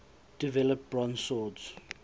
develop bronze swords